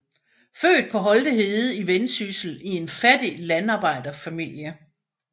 Født på Holte Hede i Vendsyssel i en fattig landarbejderfamilie